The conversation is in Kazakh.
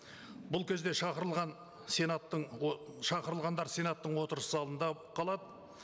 бұл кезде шақырылған сенаттың шақырылғандар сенаттың отырыс залында қалады